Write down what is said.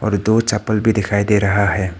दो चप्पल भी दिखाई दे रहा है।